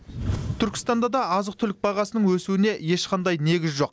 түркістанда да азық түлік бағасының өсуіне ешқандай негіз жоқ